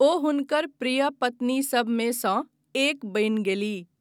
ओ हुनकर प्रिय पत्नीसभमे सँ एक बनि गेलीह।